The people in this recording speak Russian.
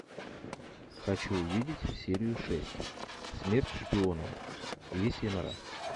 хочу увидеть серию шесть смерть шпионам лисья нора